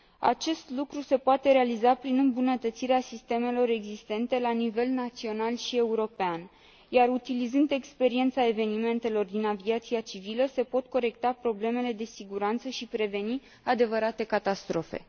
Acest lucru se poate realiza prin îmbunătățirea sistemelor existente la nivel național și european, iar utilizând experiența evenimentelor din aviația civilă, se pot corecta problemele de siguranță și preveni adevărate catastrofe.